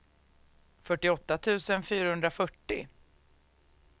fyrtioåtta tusen fyrahundrafyrtio